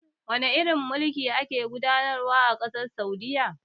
Wane irin mulki a ke gudanarwa a ƙasar Saudiyya?